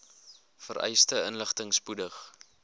vereiste inligting spoedig